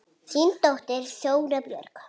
Þín dóttir, Þóra Björg.